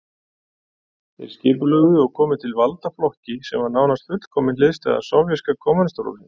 Þeir skipulögðu og komu til valda flokki sem var nánast fullkomin hliðstæða sovéska kommúnistaflokksins.